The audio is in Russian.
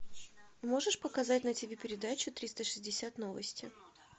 можешь показать на ти ви передачу триста шестьдесят новости